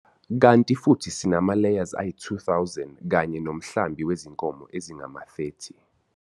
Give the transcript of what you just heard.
Kanti futhi sinama-layers ayi-2 000 kanye nomhlambi wezinkomo ezingama-30.